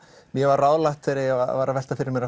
mér var ráðlagt þegar ég var að velta fyrir mér